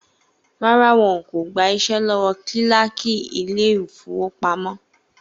Rárá, wọn kò gba iṣẹ́ lọ́wọ́ kílákì Ilé-ìfowópamó